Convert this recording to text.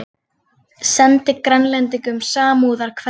Sendi Grænlendingum samúðarkveðjur